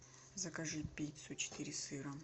закажи пиццу четыре сыра